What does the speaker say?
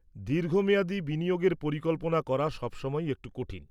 দীর্ঘমেয়াদি বিনিয়োগের পরিকল্পনা করা সবসময়ই একটু কঠিন।